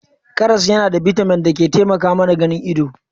Karas yana da bitamin da ke taimaka mana ganin ido.